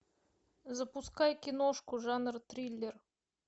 запускай киношку жанр триллер